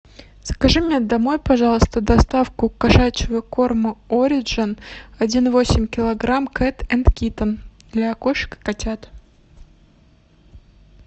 закажи мне домой пожалуйста доставку кошачьего корма ориджен один и восемь килограмм кэт энд киттен для кошек и котят